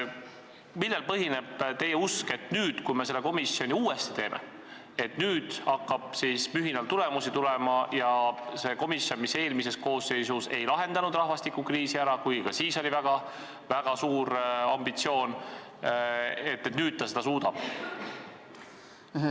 Millel põhineb teie usk, et kui me selle komisjoni uuesti teeme, siis nüüd hakkab mühinal tulemusi tulema ja see komisjon, mis eelmises koosseisus ei lahendanud rahvastikukriisi ära, kuigi ka siis oli väga suur ambitsioon, nüüd seda suudab?